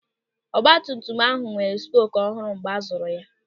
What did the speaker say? Ọgbatumtum ahụ nwere spoku ọhụrụ mgbe a zụrụ ya.